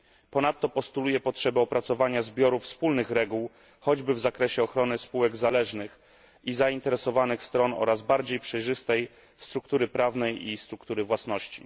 Ponadto postuluję potrzebę opracowania zbiorów wspólnych reguł, choćby w zakresie ochrony spółek zależnych i zainteresowanych stron oraz bardziej przejrzystej struktury prawnej i struktury własności.